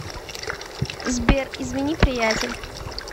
сбер извини приятель